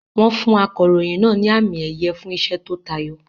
Wọ́n fún akọ̀ròyìn náà ní àmì-ẹ̀yẹ fún iṣẹ́ tó tayọ.